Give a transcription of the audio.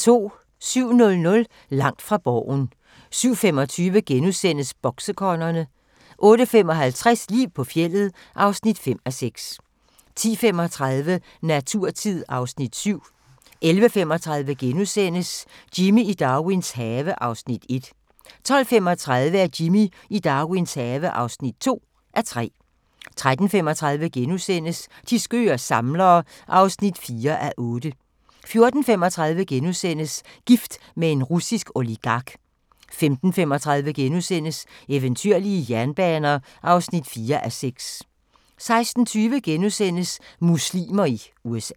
07:00: Langt fra Borgen 07:25: Boksekongerne * 08:55: Liv på fjeldet (5:6) 10:35: Naturtid (Afs. 7) 11:35: Jimmy i Darwins have (1:3)* 12:35: Jimmy i Darwins have (2:3) 13:35: De skøre samlere (4:8)* 14:35: Gift med en russisk oligark * 15:35: Eventyrlige jernbaner (4:6)* 16:20: Muslimer i USA *